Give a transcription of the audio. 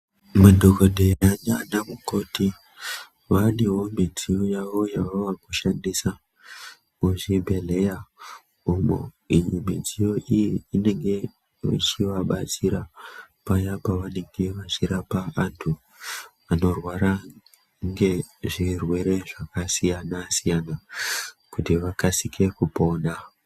Madhokodheya nanamukoti vanewo midziyo yavo yavaakushandisa kuzvibhedhlera umo. Iyi midziyo iyi inenge ichivabatsira paya pavanenge vachirapa vantu vanorwara ngezvirwere zvakasiyana-siyana kuti vakasike kupona.